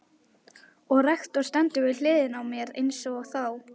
Og rektor stendur við hliðina á mér einsog þá.